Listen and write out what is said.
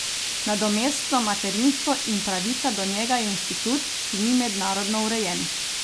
Nadomestno materinstvo in pravica do njega je institut, ki ni mednarodno urejen.